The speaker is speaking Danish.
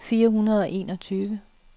fire hundrede og enogtyve